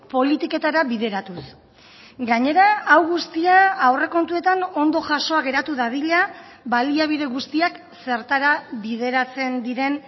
politiketara bideratuz gainera hau guztia aurrekontuetan ondo jasoa geratu dadila baliabide guztiak zertara bideratzen diren